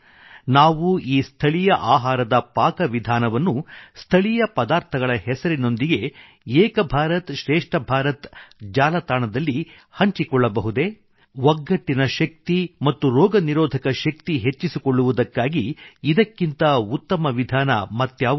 ನಾವು ಈ ಸ್ಥಳೀಯ ಆಹಾರದ ಪಾಕ ವಿಧಾನವನ್ನು ಸ್ಥಳೀಯ ಪದಾರ್ಥಗಳ ಹೆಸರಿನೊಂದಿಗೆ ಏಕ ಭಾರತ್ ಶ್ರೇಷ್ಠ ಭಾರತ್ एक भारतश्रेष्ठ भारतಜಾಲತಾಣದಲ್ಲಿ ಒಗ್ಗಟ್ಟಿನ ಶಕ್ತಿ ಹಂಚಿಕೊಳ್ಳಬಹುದೇ ಮತ್ತು ರೋಗನಿರೋಧಕ ಶಕ್ತಿ ಯುನಿಟಿ ಆಂಡಿಮ್ಯುನಿಟಿ ಹೆಚ್ಚಿಸಿಕೊಳ್ಳುವುದಕ್ಕಾಗಿ ಇದಕ್ಕಿಂತ ಉತ್ತಮ ವಿಧಾನ ಮತ್ಯಾವುದಿದೆ